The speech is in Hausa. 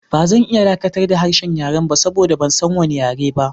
Ba zan iya dakatar da harshen yaren ba saboda ban san wani yare ba.